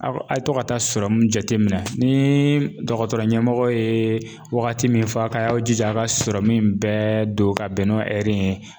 Aw a' ye to ka taa jateminɛ. Ni dɔgɔtɔrɔ ɲɛmɔgɔ ye wagati mun fɔ, a ka jija a ka in bɛɛ don ka bɛn n'o ye.